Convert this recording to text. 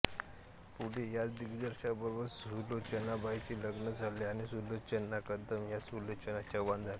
पुढे याच दिग्दर्शकाबरोबर सुलोचनाबाईंचे लग्न झाले आणि सुलोचना कदम या सुलोचना चव्हाण झाल्या